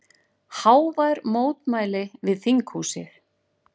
Hávær mótmæli við þinghúsið